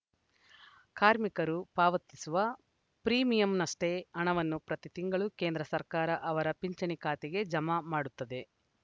ಕಾರ್ಮಿಕರು ಪಾವತಿಸುವ ಪ್ರೀಮಿಯಂನಷ್ಟೇ ಹಣವನ್ನು ಪ್ರತಿ ತಿಂಗಳು ಕೇಂದ್ರ ಸರ್ಕಾರ ಅವರ ಪಿಂಚಣಿ ಖಾತೆಗೆ ಜಮ ಮಾಡುತ್ತದೆ